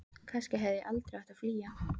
Kannski hefði ég aldrei átt að flýja.